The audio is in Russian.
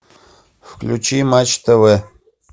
включи матч тв